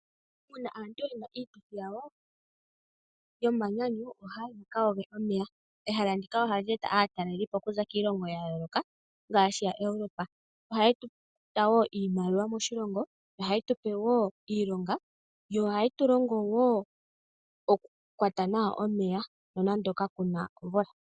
Uuna aantu ye na iituthi yawo yomanyanyu, ohaa yi yaka yoge omeya. Ehala ndika ohali eta atalelipo ya yooloka ngaashi yaEuropa. Ohaya eta wo iimaliwa moshilongo, ohaye tu pe wo iilonga, yo ohaye tu pe wo oku kwata nawa omeya nonando kaku na omvula.